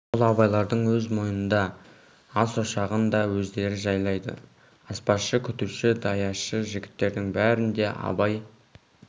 ол абайлардың өз мойнында ас ошағын да өздері жайлайды аспазшы күтуші даяшы жігіттердің бәрін де абай